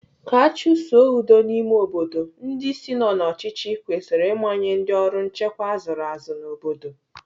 Ka achusoo udo n'ime obodo, ndị isi nọ n'ọchịchị kwesịrị ịmanye ndị ọrụ nchekwa azụrụ azụ n'obodo.